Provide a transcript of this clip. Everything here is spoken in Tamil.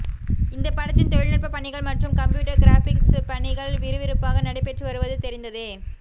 இந்த படத்தின் தொழில்நுட்ப பணிகள் மற்றும் கம்ப்யூட்டர் கிராபிக்ஸ் பணிகள் விறுவிறுப்பாக நடைபெற்று வருவது தெரிந்ததே